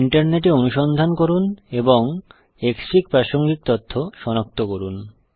ইন্টারনেটে অনুসন্ধান করুন এবং ক্সফিগ প্রাসঙ্গিক তথ্য সনাক্ত করুন